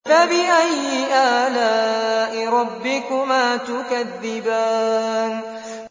فَبِأَيِّ آلَاءِ رَبِّكُمَا تُكَذِّبَانِ